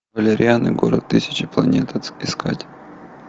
валериан и город тысячи планет искать